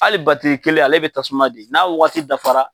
Hali kelen ale bɛ tasuma di ,n'a waati dafara